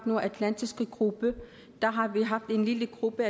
nordatlantiske gruppe der har vi haft en lille gruppe